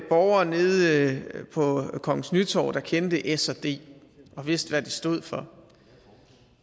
borgere nede på kongens nytorv der kendte s og d og vidste hvad det stod for